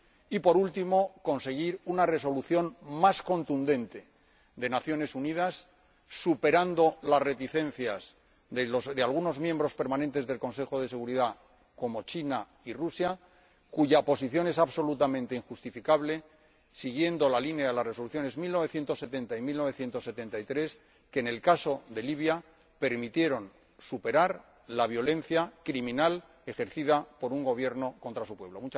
y, por último, conseguir una resolución más contundente de las Naciones Unidas superando las reticencias de algunos miembros permanentes del Consejo de Seguridad, como China y Rusia, cuya posición es absolutamente injustificable, siguiendo la línea de las resoluciones 1970 y 1973, que, en el caso de Libia, permitieron superar la violencia criminal ejercida por un Gobierno contra su pueblo.